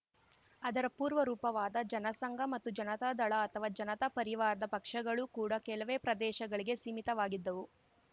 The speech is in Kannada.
ಅದರ ಪೂರ್ವರೂಪವಾದ ಜನಸಂಘ ಇತ್ತು ಜನತಾದಳ ಅಥವಾ ಜನತಾ ಪರಿವಾರದ ಪಕ್ಷಗಳು ಕೂಡ ಕೆಲವೇ ಪ್ರದೇಶಗಳಿಗೆ ಸೀಮಿತವಾಗಿದ್ದವು